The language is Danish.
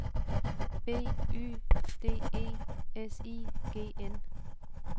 B Y D E S I G N